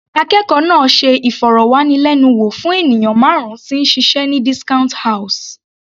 Akẹ́kọ̀ọ́ náà ṣe ìfọ̀rọ̀wánilẹ́nuwò fún ènìyàn márùn -un tí ń ṣiṣẹ́ ní discount house.